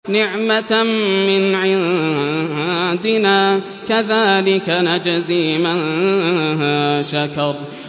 نِّعْمَةً مِّنْ عِندِنَا ۚ كَذَٰلِكَ نَجْزِي مَن شَكَرَ